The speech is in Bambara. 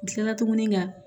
N kilala tuguni ka